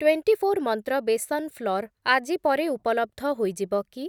Twenty four Mantra besan flour ଆଜି ପରେ ଉପଲବ୍ଧ ହୋଇଯିବ କି?